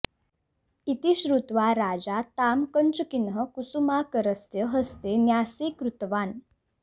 इति श्रुत्वा राजा तां कञ्चुकिनः कुसुमाकरस्य हस्ते न्यासीकृतवान्